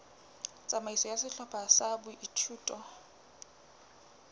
tsamaiso ya sehlopha sa boithuto